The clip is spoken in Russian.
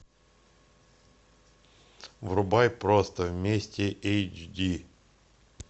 врубай просто вместе эйч ди